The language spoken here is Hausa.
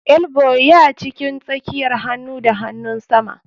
Elbow ya cikin tsakiyar hanu da hanunsama.